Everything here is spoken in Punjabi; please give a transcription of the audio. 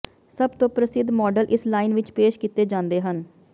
ਸਭ ਤੋਂ ਪ੍ਰਸਿੱਧ ਮਾਡਲ ਇਸ ਲਾਈਨ ਵਿੱਚ ਪੇਸ਼ ਕੀਤੇ ਜਾਂਦੇ ਹਨ